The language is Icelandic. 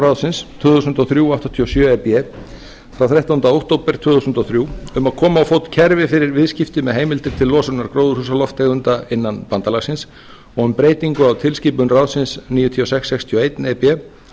ráðsins tvö þúsund og þrjú áttatíu og sjö e b frá þrettánda október tvö þúsund og þrjú um að koma á fót kerfi fyrir viðskipti með heimildir til losunar gróðurhúsalofttegunda innan bandalagsins og um breytingu á tilskipun ráðsins níutíu og sex sextíu og eitt e b